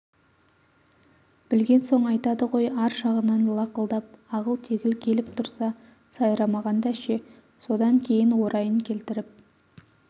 білген соң айтады ғой ар жағынан лақылдап ағыл-тегіл келіп тұрса сайрамағанда ше содан кейін орайын келтіріп